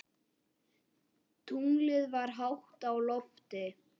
Tunglið var hátt á lofti.